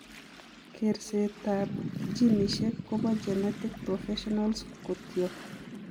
Kerseet ab genisiek kobo genetic professionals kotyok